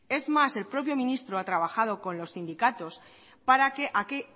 es más el propio ministro ha trabajado con los sindicatos para que